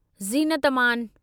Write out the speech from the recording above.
Zeenat Aman